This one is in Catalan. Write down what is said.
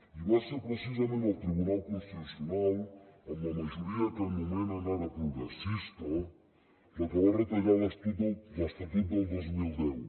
i va ser precisament el tribunal constitucional amb la majoria que anomenen ara progressista la que va retallar l’estatut del dos mil deu